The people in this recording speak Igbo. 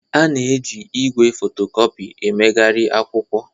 A na-eji igwe fotocopi emegharị akwụkwọ